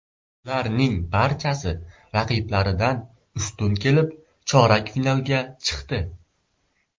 Ularning barchasi raqiblaridan ustun kelib, chorak finalga chiqdi.